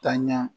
Taa ɲɛ